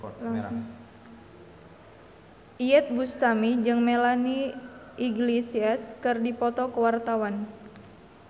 Iyeth Bustami jeung Melanie Iglesias keur dipoto ku wartawan